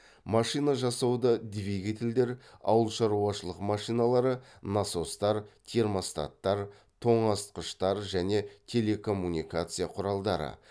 машина жасауда двигателдер ауылшаруашылық машиналары насостар термостаттар тоңазытқыштар және телекоммуникация құралдары